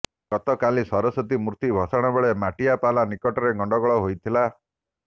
ଗତକାଲି ସରସ୍ୱତୀ ମୂର୍ତ୍ତି ଭସାଣ ବେଳେ ମାଟିଆପଲା ନିକଟରେ ଗଣ୍ଡଗୋଳ ହୋଇଥିଲା